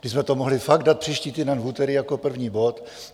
My jsme to mohli fakt dát příští týden v úterý jako první bod.